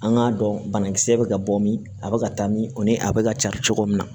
An k'a dɔn banakisɛ bɛ ka bɔ min a bɛ ka taa min o ni a bɛ ka ca cogo min na